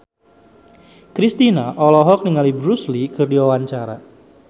Kristina olohok ningali Bruce Lee keur diwawancara